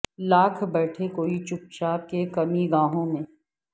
لاکھ بیٹھے کوئی چھپ چھپ کے کمیں گاہوں میں